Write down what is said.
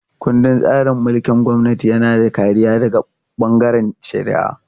Ƙundin tsarin mulkin gwamnati yana da kariya daga bangaren shari'a.